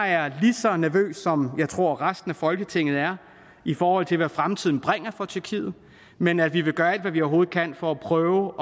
jeg er lige så nervøs som jeg tror at resten af folketinget er i forhold til hvad fremtiden bringer for tyrkiet men at vi vil gøre alt hvad vi overhovedet kan for at prøve